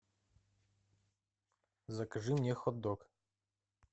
закажи мне хот дог